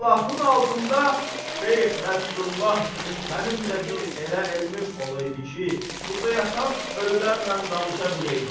Allahın altında Şeyx Nəsrullah kimi mənim də bir elə elimim olaydı ki, burda yatan ölürlərlə danışa biləydim.